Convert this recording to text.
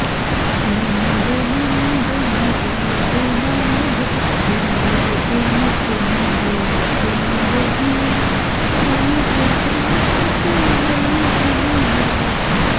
नन्द नन्दन वेणुनाद विनोदमुकुन्द कुन्द दन्तहास गोवर्धन धरा